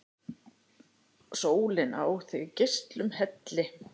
Sólin á þig geislum helli!